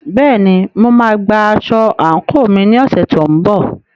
Bẹ́ẹ̀ni, mo máa gba aṣọ àǹkóò mi ní ọ̀sẹ̀ tó ń bọ̀.